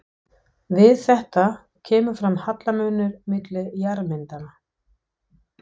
Við þetta kemur fram hallamunur milli jarðmyndana.